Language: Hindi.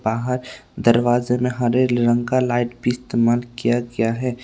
बाहर दरवाजे में हरे रंग का लाइट भी इस्तेमाल किया गया है।